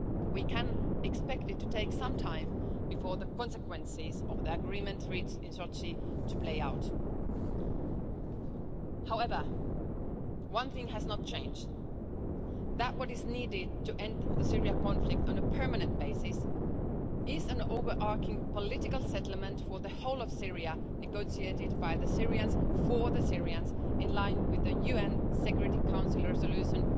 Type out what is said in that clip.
We can expect it to take some time before the consequences of the agreement reached in Sochi play out. However, one thing has not changed what is needed to end the Syrian conflict on a permanent basis is an overarching political settlement for the whole of Syria negotiated by the Syrians for the Syrians, in line with UN Security Council Resolution